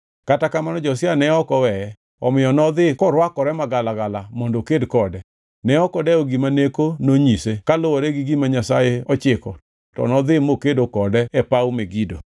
Kata kamano, Josia ne ok oweye, omiyo nodhi korwakore magalagala mondo oked kode. Ne ok odewo gima Neko nonyise kaluwore gi gima Nyasaye ochiko to nodhi mokedo kode e paw Megido.